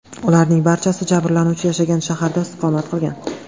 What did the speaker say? Ularning barchasi jabrlanuvchi yashagan shaharda istiqomat qilgan.